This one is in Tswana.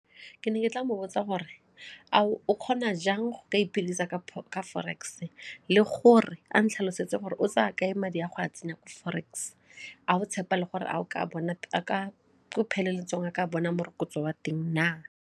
Ke ne ke tla mo botsa gore a o kgona jang go ka iphedisa gape ka forex le gore a ntlhalosetsa gore o tsaya kae madi a go a tsena ko forex ga go tshepa le gore ko pheletsong a ka bona morokotso wa teng na?